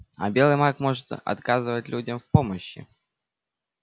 а белый маг может отказывать людям в помощи